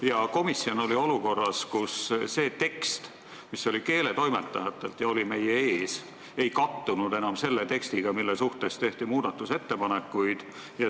Ja komisjon oli olukorras, kus see tekst, mis tuli keeletoimetajatelt ja oli meie ees, ei kattunud enam selle tekstiga, mille kohta tehti muudatusettepanekuid.